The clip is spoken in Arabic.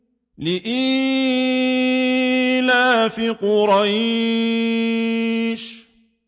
لِإِيلَافِ قُرَيْشٍ